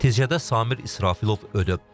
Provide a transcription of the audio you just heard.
Nəticədə Samir İsrafilov ölüb.